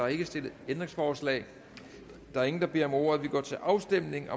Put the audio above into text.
ikke stillet ændringsforslag der er ingen der beder om ordet og vi går til afstemning